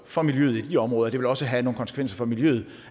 for miljøet i de områder og det vil også have nogle konsekvenser for miljøet